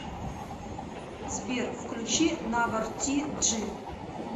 сбер включи навор ти джи